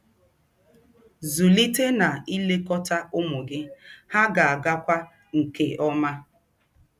Zụlite na ilekọta ụmụ gị, ha ga-agakwa nke ọma.